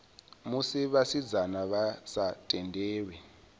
musi vhasidzana vha sa tendelwi